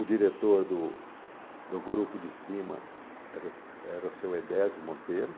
O diretor do do grupo de cima era o era o seu Edésio Monteiro.